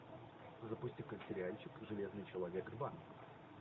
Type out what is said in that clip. запусти ка сериальчик железный человек два